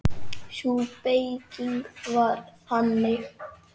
Sú beyging var þannig